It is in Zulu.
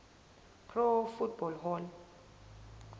pro football hall